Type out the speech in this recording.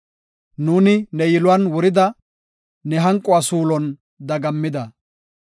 Nuuni ne yiluwan wurida; ne hanquwa suulon dagammida.